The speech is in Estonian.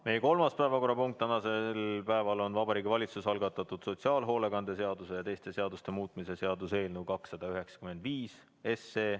Meie kolmas päevakorrapunkt tänasel päeval on Vabariigi Valitsuse algatatud sotsiaalhoolekande seaduse ja teiste seaduste muutmise seaduse eelnõu 295.